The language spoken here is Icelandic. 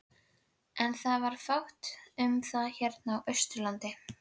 En það var fátt um það hérna á Austurlandi.